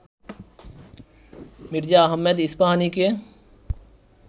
Mirza Ahmed ইস্পাহানিকে